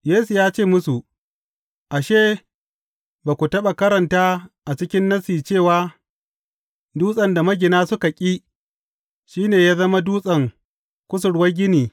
Yesu ya ce musu, Ashe, ba ku taɓa karanta a cikin Nassi cewa, Dutsen da magina suka ƙi shi ne ya zama dutsen kusurwar gini.